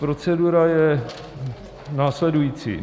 Procedura je následující.